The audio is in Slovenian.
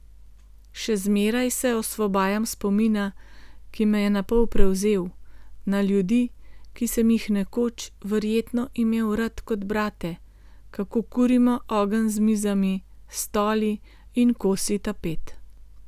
Še zmeraj se osvobajam spomina, ki me je napol prevzel, na ljudi, ki sem jih nekoč verjetno imel rad kot brate, kako kurimo ogenj z mizami, stoli in kosi tapet.